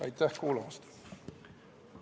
Aitäh kuulamast!